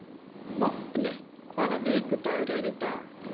Vápni, hvaða vikudagur er í dag?